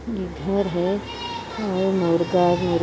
ये घर है और मुर्गा भी--